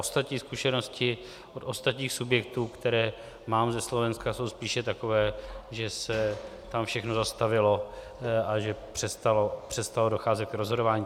Ostatní zkušenosti od ostatních subjektů, které mám ze Slovenska, jsou spíše takové, že se tam všechno zastavilo a že přestalo docházet k rozhodování.